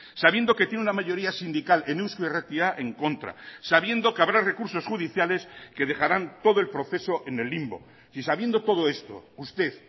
sabiendo que tiene una mayoría sindical en eusko irratia en contra sabiendo que habrá recursos judiciales que dejarán todo el proceso en el limbo si sabiendo todo esto usted